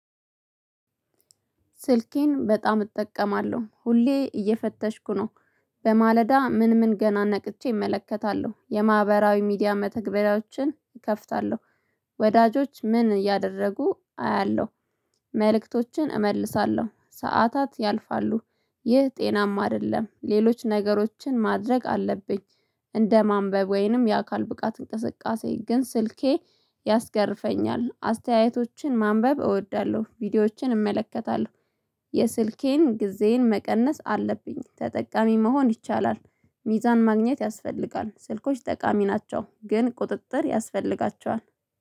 ስልኬን በጣም እጠቀማለሁ ሁሌ እየፈተሽኩ ነው። በማለዳ ምን ምን ገና ነቅቼ እመለከታለሁ የማህበራዊ ሚዲያ መተግበሪያዎችን እከፍታለሁ። ወዳጆች ምን እያደረጉ አያለሁ። መልእክቶችን እመልሳለሁ ሰዓታት ያልፋሉ። ይህ ጤናማ አይደለም ሌሎች ነገሮችን ማድረግ አለብኝ። እንደ ማንበብ ወይንም የአካል ብቃት እንቅስቃሴ ግን ስልኬ ያስገርፈኛል አስተያየቶችን ማንበብ እወዳለሁ ቪዲዮዎችን እመለከታለሁ። የስልኬን ጊዜዬን መቀነስ አለብኝ ተጠቃሚ መሆን ይቻላል። ሚዛን ማግኘት ያስፈልጋል ስልኮች ጠቃሚ ናቸው ግን ቁጥጥር ያስፈልጋቸዋል